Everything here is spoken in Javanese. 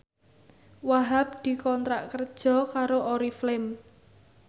Wahhab dikontrak kerja karo Oriflame